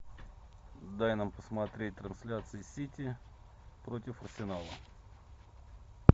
дай нам посмотреть трансляции сити против арсенала